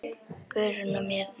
Guðrún og Bjarni.